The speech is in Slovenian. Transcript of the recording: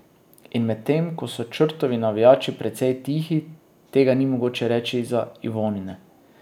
In medtem ko so Črtovi navijači precej tihi, tega ni mogoče reči za Ivonine.